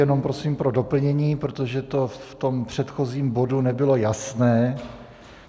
Jenom prosím pro doplnění, protože to v tom předchozím bodu nebylo jasné.